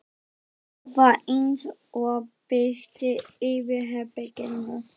Það var eins og birti yfir herberginu.